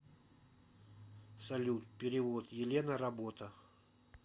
салют перевод елена работа